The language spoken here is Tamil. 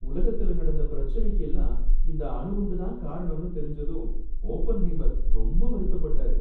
உலகத்துல நடந்த பிரச்சனைக்கு எல்லாம் இந்த அணு குண்டு தான் காரணம்னு தெரிஞ்சதும் ஓப்பன்ஹைமர் ரொம்ப வருத்தப்பட்டாரு.